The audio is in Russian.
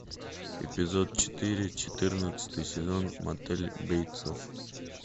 эпизод четыре четырнадцатый сезон мотель бейтсов